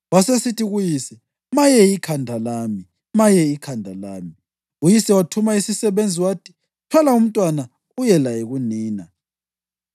Wasesithi kuyise, “Maye ikhanda lami! Maye ikhanda lami!” Uyise wathuma isisebenzi wathi, “Thwala umntwana uye laye kunina.”